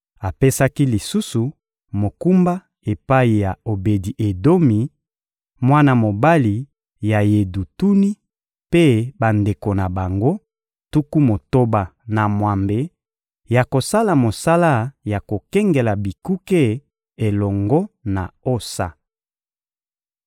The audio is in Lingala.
Apesaki lisusu mokumba epai ya Obedi-Edomi, mwana mobali ya Yedutuni, mpe bandeko na bango, tuku motoba na mwambe, ya kosala mosala ya kokengela bikuke elongo na Osa.